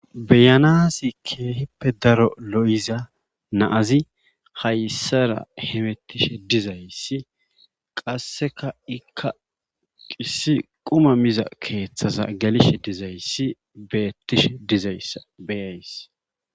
Be'anasi keehippe daro lo'ida na'azi hayssara hemetishe dizayssi qassekka ikka issi quma miza keeththa gelishe dizayssi betishe dizayssa be'ays.